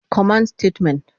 command Statements